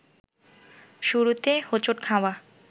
শুরুতে হোঁচট খাওয়া